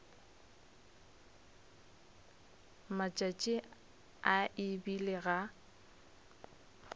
matšatši a e bile ga